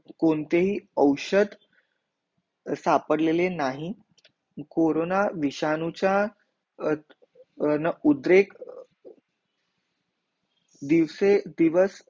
कोणतेही औषध स्टापर लेले नाही कोरोना विषाणूचा उद्धरेक दिवसे दिवस